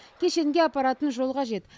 кешенге апаратын жол қажет